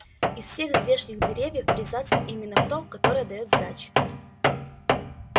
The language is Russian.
из всех здешних деревьев врезаться именно в то которое даёт сдачи